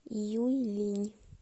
юйлинь